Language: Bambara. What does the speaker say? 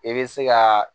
I bɛ se ka